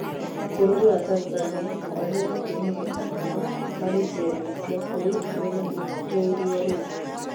bũrũri wa Tanzania, ohwo hakuhĩ magana matano marĩ njera-inĩ cia kũu mena ĩtũĩro rĩu